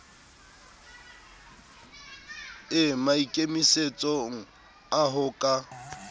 e maikemisetsong a ho ka